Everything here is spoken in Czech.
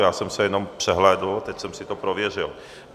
Já jsem se jenom přehlédl, teď jsem si to prověřil.